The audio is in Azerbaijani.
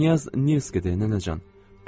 Knyaz Nils kidir, nənəcan.